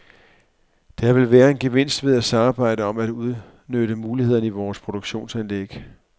Der vil være en gevinst ved at samarbejde om at udnytte mulighederne i vores produktionsanlæg.